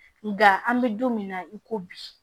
Nga an be don min na i ko bi